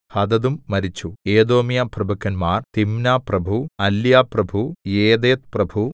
ഹദദും മരിച്ചു ഏദോമ്യപ്രഭുക്കന്മാർ തിമ്നാപ്രഭു അല്യാപ്രഭു യെഥേത്ത്പ്രഭു